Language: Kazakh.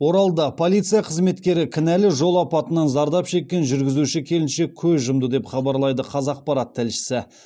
оралда полиция қызметкері кінәлі жол апатынан зардап шеккен жүргізуші келіншек көз жұмды деп хабарлайды қазақпарат тілшісі